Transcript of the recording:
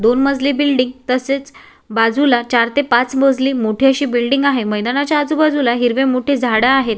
दोन मजली बिल्डिंग तसेच बाजूला चार ते पाच मजली मोठी अशी बिल्डिंग आहे मैदानाच्या आजूबाजूला हिरवे मोठे झाडे आहेत.